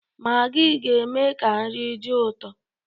Maggi ga-eme ka nri dị ụtọ.